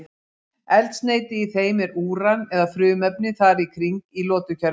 Eldsneyti í þeim er úran eða frumefni þar í kring í lotukerfinu.